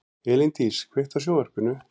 Elíndís, kveiktu á sjónvarpinu.